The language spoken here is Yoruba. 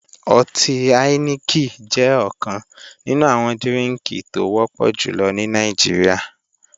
Ọtí áíníkì jẹ́ ọ̀kan nínú àwọn dírínkì tó wọ́pọ̀ jùlọ ní Nàìjíríà